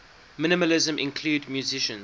minimalism include musicians